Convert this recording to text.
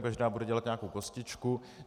Každá bude dělat nějakou kostičku.